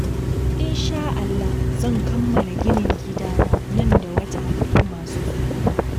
Insha'Allah zan kammala ginin gidana nan da wata uku masu zuwa